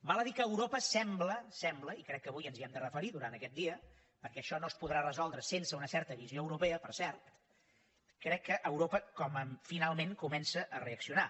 val a dir que europa sembla ho sembla i crec que avui ens hi hem de referir durant aquest dia perquè això no es podrà resoldre sense una certa visió europea per cert crec que europa finalment comença a reaccionar